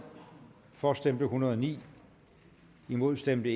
for stemte en hundrede og ni imod stemte